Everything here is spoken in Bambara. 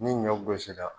Ni ɲɔ gosi la